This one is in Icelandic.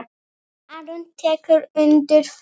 Aron tekur undir það.